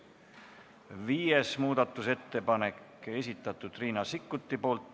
Viies muudatusettepanek, esitanud Riina Sikkut.